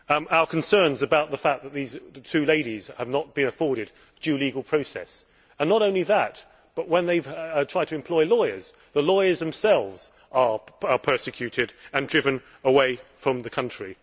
Our concern is about the fact that these two ladies are not being afforded due legal process, and not only that, but when they try to employ lawyers, the lawyers themselves are persecuted and driven away from the country.